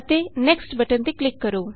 next ਤੇ click ਕਰੋ